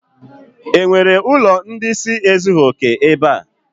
E nwere ụlọ ndị ịsị ezughi oke ebe a?